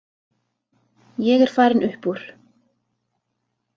Ég er farinn upp úr.